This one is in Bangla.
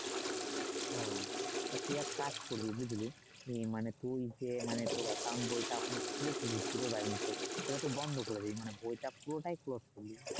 হম তুই এক কাজ করিস বুঝলি হম মানে তুই যে মানে তোর বইটা খুলেছিলি জিরো এ সেটা তো বন্ধ করে দিয়েছে মানে বইটা পুরোটাই